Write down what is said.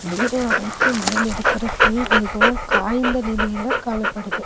நீரோடைக்கு மேல இருக்குற புல் மிகவும் காய்ந்த நிலையில காணப்படுது.